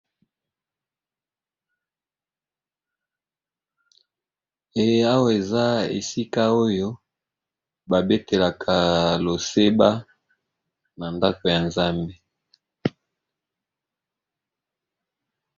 E awa eza esika oyo babetelaka loseba na ndako ya nzambe.